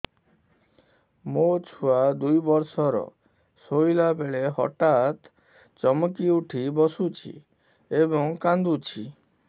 ମୋ ଛୁଆ ଦୁଇ ବର୍ଷର ଶୋଇଲା ବେଳେ ହଠାତ୍ ଚମକି ଉଠି ବସୁଛି ଏବଂ କାଂଦୁଛି